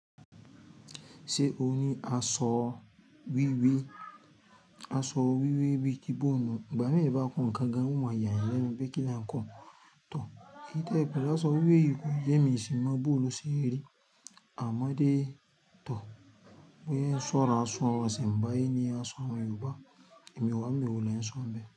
Ṣé o ní aṣọ wíwé? Aṣọ wíwé bíi gíbònù. Ìgbà mí bá kàn án gan, wọn máa yàn lẹ́nu pé kí n kàn án tò. Kí n tẹ̀wé pẹ̀lú aṣọ wíwé yìí kò jẹ́ mi ṣì máa bú òlu sí eré. Àmọ́dé tò. Wọn yóò ń sọ̀rọ̀ aṣọ wọn, ṣìnbáyé ni aṣọ Yorùbá. Ẹ̀mí wá, ẹ̀mí ò lè sọ̀rọ̀ bẹ́.